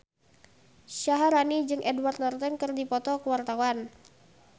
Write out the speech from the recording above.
Syaharani jeung Edward Norton keur dipoto ku wartawan